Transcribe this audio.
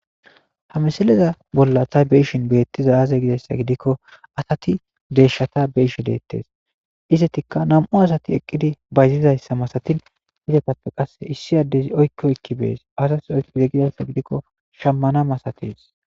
Ha misileza bolla ta be'ishin betizay azee?gizayssa gidikko, Asati deyshata be'ishe detes. izetika nam'u asati eqidi bayzizayssa masetetes.izetape issi adezi oyki oyki beyes.azas oykize giza gidikko shamana masates.